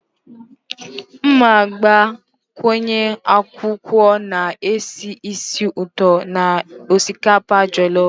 M ga-agbakwunye akwụkwọ na-esi ísì ụtọ na osikapa jolof